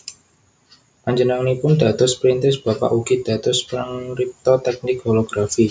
Panjenenganipun dados perintis bapak ugi dados pangripta tèknik holografi